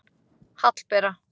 Hallbera